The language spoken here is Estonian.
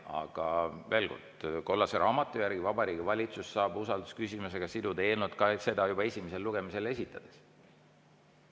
Aga veel kord: kollase raamatu järgi saab Vabariigi Valitsus usaldusküsimusega siduda eelnõu ka juba esimesele lugemisele esitades.